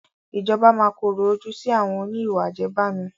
Ìjọba máa korò ojú sì àwọn òní ìwà àjẹbánu